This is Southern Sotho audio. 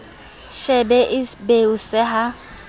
shebe e be o seha